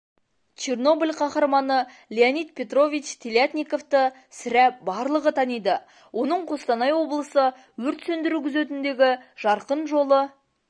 чернобыль қаһарманы леонид петрович телятниковты сірә барлығы таниды оның қостанай облысы өрт сөндіру күзетіндегі жарқын жолы